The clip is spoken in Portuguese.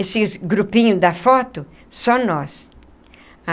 Esse grupinho da foto, só nós.